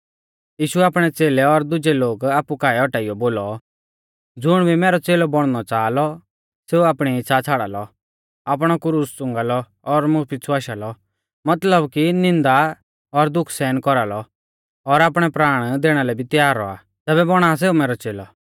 यीशुऐ आपणै च़ेलै और दुजै लोग आपु काऐ औटाइयौ बोलौ ज़ुण भी मैरौ च़ेलौ बौणनौ च़ाहा लौ सेऊ आपणी इच़्छ़ा छ़ाड़ा लौ आपणौ क्रूस च़ुंगा लौ और मुं पिछ़ु आशा लौ मतलब कि निन्दा और दुख सहन कौरालौ और आपणै प्राणा दैणा लै भी त्यार रौआ तैबै पा बौणा सौ मैरौ च़ेलौ